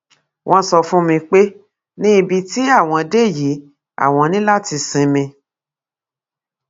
wọn sọ fún mi pé ní ibi tí àwọn dé yìí àwọn ní láti ṣímí